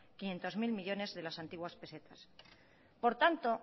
quinientos mil millónes de las antiguas pesetas por tanto